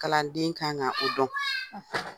Kalanden kan ka o dɔn.